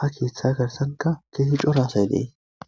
ha keeththa garsanka keesi cora asay nee.